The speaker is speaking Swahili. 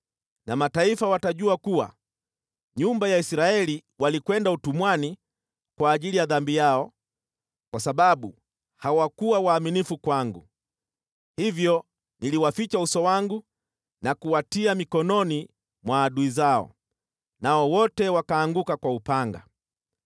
Na mataifa watajua kuwa nyumba ya Israeli walikwenda utumwani kwa ajili ya dhambi yao, kwa sababu hawakuwa waaminifu kwangu. Hivyo niliwaficha uso wangu na kuwatia mikononi mwa adui zao, nao wote wakaanguka kwa upanga.